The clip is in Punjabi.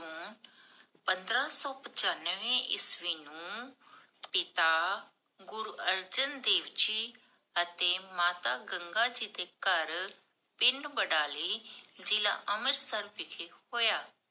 ਪੰਦਰਾ ਸੋ ਪਚਾਨਵੇ ਈਸਵੀ ਨੂੰ ਪਿਤਾ ਗੁਰੂ ਅਰਜਨ ਦੇਵ ਜੀ, ਅਤੇ ਮਾਤਾ ਗੰਗਾ ਜੀ ਦੇ ਘਰ, ਪਿੰਡ ਬਡਾਲੀ, ਜਿਲਾ ਅੰਮ੍ਰਿਤਸਰ ਵਿਖੇ ਹੋਇਆ।